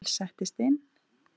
Emil settist inn.